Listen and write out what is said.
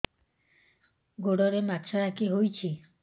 ଗୋଡ଼ରେ ମାଛଆଖି ହୋଇଛି